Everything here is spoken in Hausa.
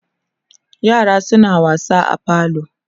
yaran suna wasa a falo